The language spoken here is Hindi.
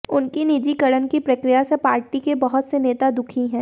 उनकी निजीकरण की प्रक्रिया से पार्टी के बहुत से नेता दुखी हैं